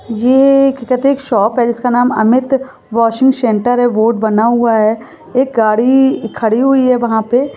ये a shop है जिसका नाम अमित वॉशिंग सेंटर है बोर्ड बना हूआ है एक गाड़ी खड़ी हुई है वहा पे--